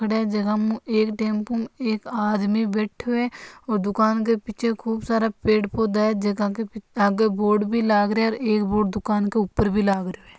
टेम्पू में एक आदमी बैठो है और दुकान के पीछे खूब सारा पेड़ पोधा है जगह के आगे बोर्ड भी लग है एक बोर्ड दुकान के ऊपर भी लागरो है।